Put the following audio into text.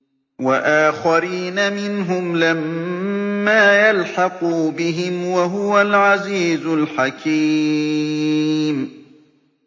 وَآخَرِينَ مِنْهُمْ لَمَّا يَلْحَقُوا بِهِمْ ۚ وَهُوَ الْعَزِيزُ الْحَكِيمُ